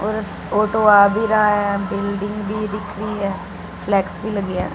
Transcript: और ऑटो आ भी रहा है बिल्डिंग भी दिख रही है फ्लेक्स भी लगी है।